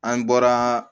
An bɔra